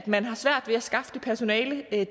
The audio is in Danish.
man har svært ved at skaffe det personale